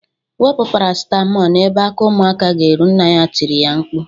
Wepu Paracịtamọl n'ebe aka ụmụaka ga erụ nna ya tiri mkpu